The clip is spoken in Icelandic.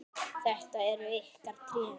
Þetta eru ykkar tré.